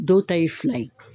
Dɔw ta ye fila ye